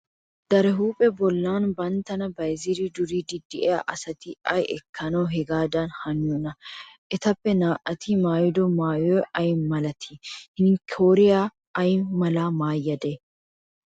Daraphpha bollan banttana bayzzidi duriidi de'iyaa asati ay ekkanaw hagaadan haniyoona? Etappe naa"ati maayido maayoy ay malatii? Hinkkoriyashin ay malaa maayade?